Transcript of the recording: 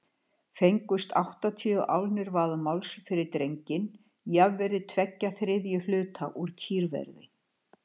Fengust áttatíu álnir vaðmáls fyrir drenginn, jafnvirði tveggja þriðju hluta úr kýrverði.